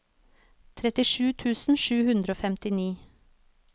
trettisju tusen sju hundre og femtini